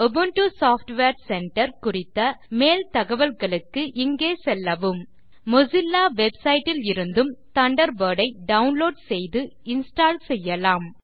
Ubuntu software centre குறித்த மேல் தகவல்களுக்கு இங்கே செல்லவும் மொசில்லா வெப்சைட் இலிருந்தும் தண்டர்பர்ட் ஐ டவுன்லோட் செய்து இன்ஸ்டால் செய்யலாம்